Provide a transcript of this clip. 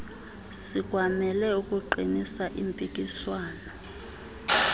sikwamele ukuqinisa impikiswano